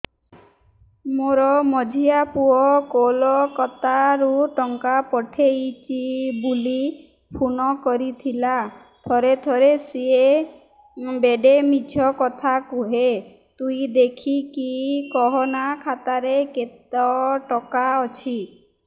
ମୋର ମଝିଆ ପୁଅ କୋଲକତା ରୁ ଟଙ୍କା ପଠେଇଚି ବୁଲି ଫୁନ କରିଥିଲା ଥରେ ଥରେ ସିଏ ବେଡେ ମିଛ କଥା କୁହେ ତୁଇ ଦେଖିକି କହନା ଖାତାରେ କେତ ଟଙ୍କା ଅଛି